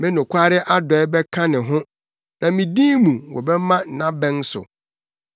Me nokware adɔe bɛka ne ho, na me din mu, wɔbɛma nʼabɛn so.